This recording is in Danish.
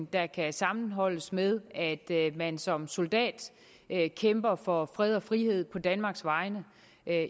der kan sammenholdes med at man som soldat kæmper for fred og frihed på danmarks vegne